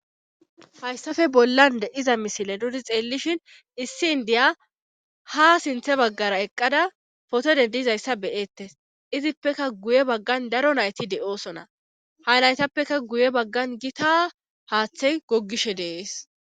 hayssafe bollan de'iza misile dudi xeellishin issi indiya ha sinthe baggara eqqada foto dendizayssa beyeettes izippeka guye baggan daro nayti de7oosona ha laytappeka guye baggan gita haaththey gogishe deees